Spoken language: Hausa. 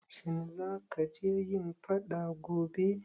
Shin zaka je yin faɗa gobe?